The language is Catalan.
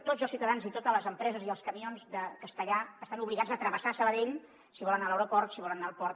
tots els ciutadans i totes les empreses i els camions de castellar estan obligats a travessar sabadell si volen anar a l’aeroport si volen anar al port